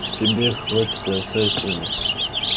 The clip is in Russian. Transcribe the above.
тебе хватит и овса и сена